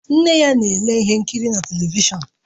Nne ya na-ele ihe nkiri na telivishọn